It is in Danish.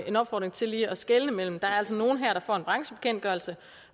en opfordring til lige at skelne der er altså nogen her der får en branchebekendtgørelse